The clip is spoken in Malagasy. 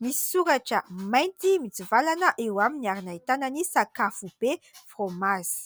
Misy soratra mainty mitsivalana eo amin'ny ary nahitana ny sakafo be fraomazy.